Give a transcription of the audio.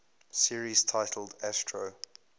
series titled astro